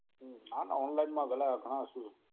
હમ ના online માં પેલા ઘણા